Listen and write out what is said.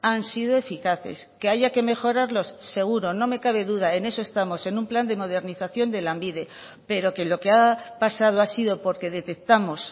han sido eficaces que haya que mejorarlos seguro no me cabe duda en eso estamos en un plan de modernización de lanbide pero que lo que ha pasado ha sido porque detectamos